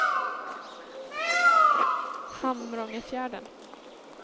Hamrångefjärden